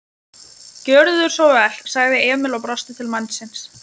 Gjörðu svo vel, sagði Emil og brosti til mannsins.